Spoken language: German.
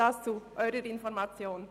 Dies zu Ihrer Information.